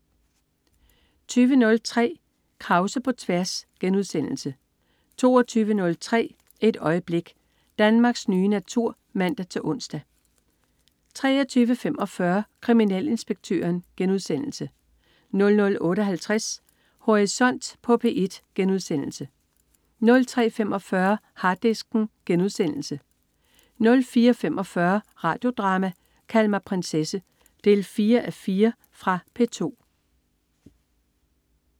20.03 Krause på tværs* 22.03 Et øjeblik. Danmarks nye natur (man-ons) 23.45 Kriminalinspektøren* 00.58 Horisont på P1* 03.45 Harddisken* 04.45 Radio Drama: Kald mig prinsesse 4:4. Fra P2